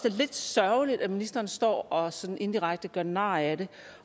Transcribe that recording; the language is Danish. er lidt sørgeligt at ministeren står og sådan indirekte gør nar af det